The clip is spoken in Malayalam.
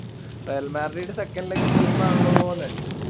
Real Madrid second leg team ആണല്ലോന്ന്